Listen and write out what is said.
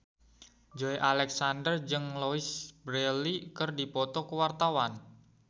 Joey Alexander jeung Louise Brealey keur dipoto ku wartawan